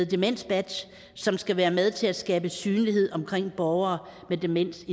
demensbadges som skal være med til at skabe synlighed omkring borgere med demens